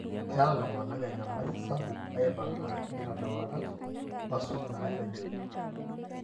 keeta iltungana enyamali sapuk aipanga inkitoaduarat, wasuj inatejoki